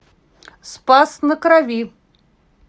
спас на крови